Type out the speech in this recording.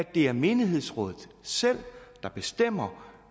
det er menighedsrådenes selv der bestemmer